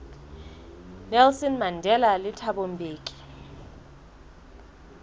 nelson mandela le thabo mbeki